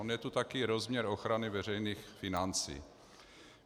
On je tu také rozměr ochrany veřejných financí.